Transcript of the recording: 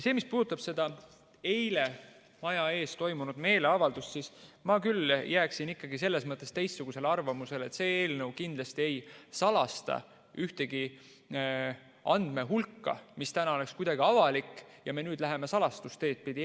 Mis puudutab seda eile maja ees toimunud meeleavaldust, siis ma küll jääksin selles mõttes teistsugusele arvamusele, et see eelnõu kindlasti ei salasta ühtegi andmehulka, mis täna on avalik, aga nüüd me läheme salastamise teed pidi.